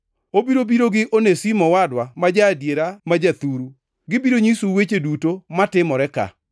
Obiro biro gi Onesimo owadwa ma ja-adiera ma jathuru. Gibiro nyisou weche duto matimore ka.